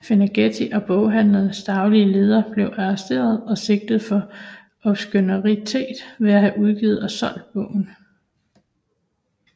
Ferlinghetti og boghandelens daglige leder blev arresteret og sigtet for obskønitet ved at have udgivet og solgt bogen